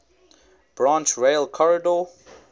branch rail corridor